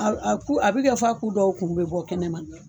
A b a ku a bɛ kɛ f'a ku dɔw kuru bɛ bɔ kɛnɛma.